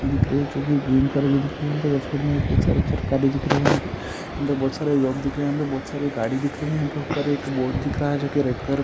दिख रही हैं जोकी ग्रीन कलर मे दिख रही हैं सारे सरकारे दिख रही हैं यहाँ पे बहोत सारे लोग दिख रहे हैं पे बहोत सारे गाड़ी दिख रही हैं यहाँ पे ऊपर एक बोर्ड दिख रहा हैं जो की यहाँ पे